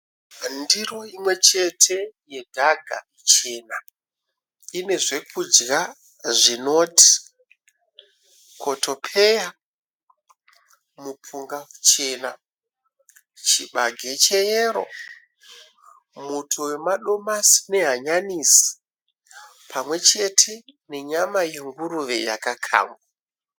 Ndiro imwechete yedhaga chena, ine zvekudya zvinoti kotopeya, mupunga muchena, chibage cheyero, muto wemadomasi nehanyanisi pamwechete nenyama yenguruve yakakangwa